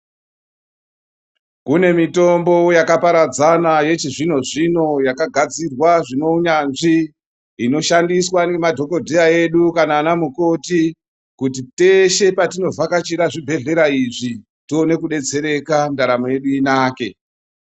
Kune mitombo yakaparadzana yechizvino zvino yakagadzirwa inoshandiswa nemadhokodheya edu kana ana mukoti kuti teshe patinovhakachira chibhedhlera izvi tione kudetsereka ndaramo yedu intake.